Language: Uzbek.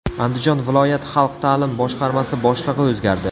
Andijon viloyat xalq ta’lim boshqarmasi boshlig‘i o‘zgardi.